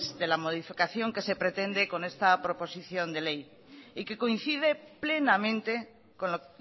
de la modificación que se pretende con esta proposición de ley y que coincide plenamente con lo